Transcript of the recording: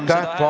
Aitäh!